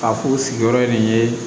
A k'u sigiyɔrɔ nin ye